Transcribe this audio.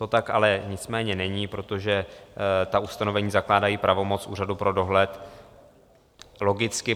To tak ale nicméně není, protože ta ustanovení zakládají pravomoc úřadu pro dohled, logicky.